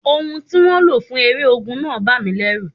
Ohùn tí wọ́n lò fún eré ogun náà bà mí lẹ́rù.